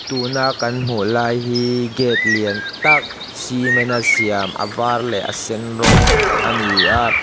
tuna kan hmuh lai hi gate lian tak cement a siam a var leh a sen rawng a ni a.